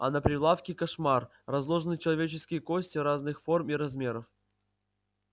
а на прилавке кошмар разложены человеческие кости разных форм и размеров